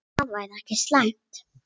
Það væri ekki slæmt.